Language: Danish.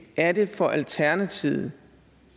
er det for alternativet